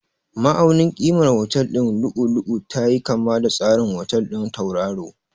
Ma'aunin ƙimar otal ɗin lu'u-lu'u tayi kama da tsarin otal ɗin tauraro.